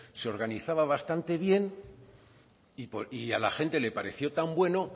se organizaba bastante bien y a la gente le pareció tan bueno